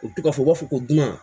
U bɛ to ka fɔ u b'a fɔ ko dunan